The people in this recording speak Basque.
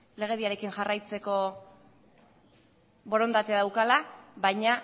legediarekin jarraitzeko borondatea daukala baina